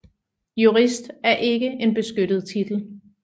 Jurist er ikke en beskyttet titel